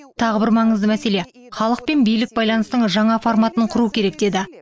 тағы бір маңызды мәселе халық пен билік байланысының жаңа форматын құру керек деді